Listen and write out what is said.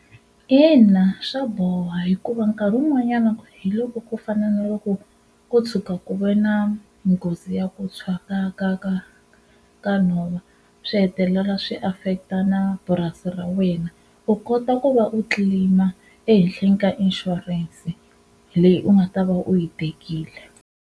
Ina swa boha hikuva nkarhi wun'wanyana hi loko ku fana na loko ko tshuka ku ve na nghozi ya ku tshwa ka ka ka ka nhova swi hetelela swi affect-a na purasi ra wena u kota ku va u claim-a ehenhleni ka inshurense leyi u nga ta va u yi tekile.